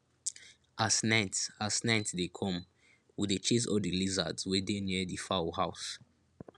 as night as night dey come we dey chase all di lizards wey dey near di fowl house